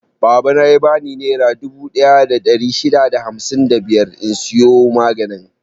Babana ya bani nera dubu ɗaya da ɗari shida da hamsin da biyar in siyo maganin.